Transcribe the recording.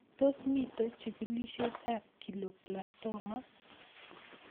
Tos mito chigilet ab glioblastoma